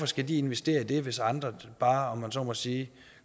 skal investere i det hvis andre bare om jeg så må sige